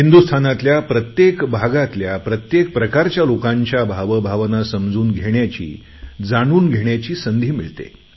हिंदुस्तानातल्या प्रत्येक भागातल्या प्रत्येक प्रकारच्या लोकांच्या भावभावना समजून घेण्याची जाणून घेण्याची संधी मिळते